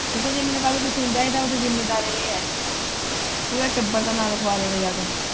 ਤੂੰ ਕਹਿ ਜੇ ਕੱਲ੍ਹ ਨੂੰ ਮੈਨੂੰ ਕੁੱਝ ਹੁੰਦਾ ਇਹਦਾ ਜ਼ਿੰਮੇਵਾਰ ਏ ਹੈ ਪੂਰੇ ਟੱਬਰ ਦਾ ਨਾ ਲਿਖਵਾ ਦੇਂਵੇ ਜਾ ਕੇ।